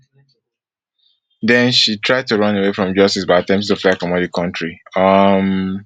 den she try to run away from justice by attempting to fly comot for di kontri um